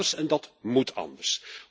Dat kan anders en dat moet anders.